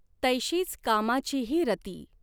तैशी्च कामाचीही रती।